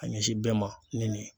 A ɲɛsin bɛɛ ma ni nin ye.